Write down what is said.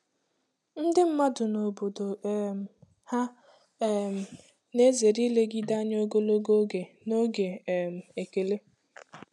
Ndị mmadụ n'obodo um ha um na-ezere ilegide anya ogologo oge n'oge um ekele.